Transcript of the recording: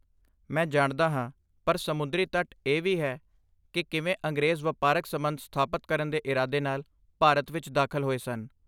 ਮੈਂ ਜਾਣਦਾ ਹਾਂ, ਪਰ ਸਮੁੰਦਰੀ ਤੱਟ ਇਹ ਵੀ ਹੈ ਕਿ ਕਿਵੇਂ ਅੰਗਰੇਜ਼ ਵਪਾਰਕ ਸਬੰਧ ਸਥਾਪਤ ਕਰਨ ਦੇ ਇਰਾਦੇ ਨਾਲ ਭਾਰਤ ਵਿੱਚ ਦਾਖਲ ਹੋਏ ਸਨ।